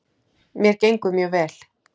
Mér gengur mjög vel.